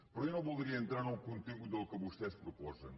però jo no voldria entrar en el contingut del que vostès proposen